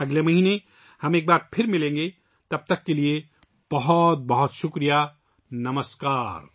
ہم اگلے مہینے پھر ملیں گے، تب تک کے لئے، بہت بہت شکریہ، نمسکار